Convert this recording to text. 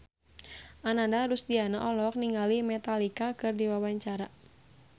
Ananda Rusdiana olohok ningali Metallica keur diwawancara